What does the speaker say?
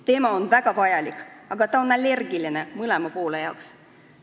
Teema on väga vajalik, aga mõlemad pooled on sellele allergilised.